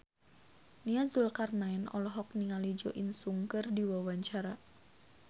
Nia Zulkarnaen olohok ningali Jo In Sung keur diwawancara